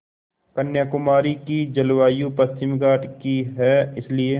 कन्याकुमारी की जलवायु पश्चिमी घाट की है इसलिए